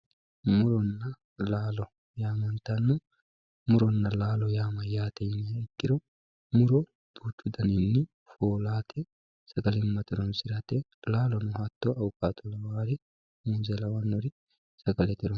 muronna laalo yaamantanno muronna laalo mayyate yiniha ikkiro muro duuchu daninni no yaate sagalimmate horonsirate laalono hatto awukaato'oo lawannori muuze lawannori...